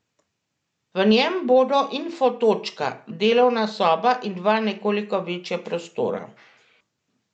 V njem bodo info točka, delovna soba in dva nekoliko večja prostora.